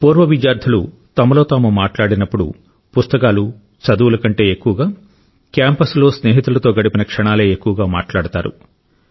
పూర్వ విద్యార్థులు తమలో తాము మాట్లాడినప్పుడు పుస్తకాలు చదువుల కంటే ఎక్కువగా క్యాంపస్లో స్నేహితులతో గడిపిన క్షణాలే ఎక్కువగా మాట్లాడతారు